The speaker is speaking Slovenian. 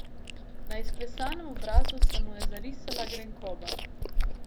Na izklesanem obrazu se mu je zarisala grenkoba.